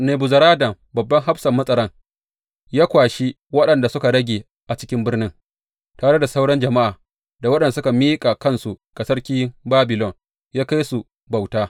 Nebuzaradan babban hafsan matsaran, ya kwashi waɗanda suka rage a cikin birnin, tare da sauran jama’a, da waɗanda suka miƙa kansu ga sarkin Babilon, ya kai su bauta.